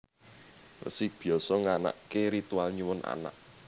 Resi Byasa nganakaké ritual nyuwun anak